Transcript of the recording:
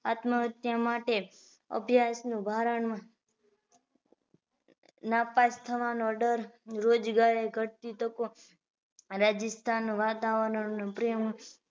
આત્મ હત્યા માટે અભ્યાસ નુ ભારણ નાપાસ થવાનો ડર રોજ ઘટતી તકો રાજ્સ્થાન વાતાવરણ પ્રેમ